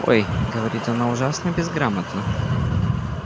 ой говорит она ужасно безграмотно